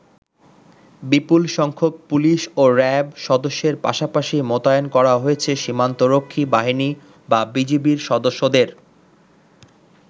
বিপুল সংখ্যক পুলিশ ও র‍্যাব সদস্যের পাশাপাশি মোতায়েন করা হয়েছে সীমান্তরক্ষী বাহিনী বা বিজিবির সদস্যদের।